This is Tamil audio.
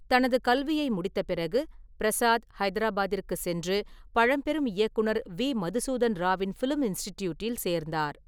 தனது கல்வியை முடித்த பிறகு, பிரசாத் ஹைதராபாத்திற்கு சென்று பழம்பெரும் இயக்குனர் வி. மதுசூதன் ராவின் ஃபிலிம் இன்ஸ்டிடியூட்டில் சேர்ந்தார்.